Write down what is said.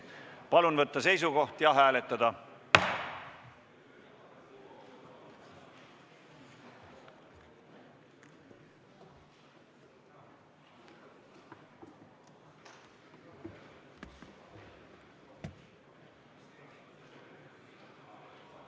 Palun võtta seisukoht ja hääletada!